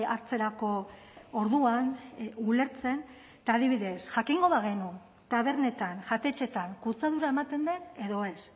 hartzerako orduan ulertzen eta adibidez jakingo bagenu tabernetan jatetxeetan kutsadura ematen den edo ez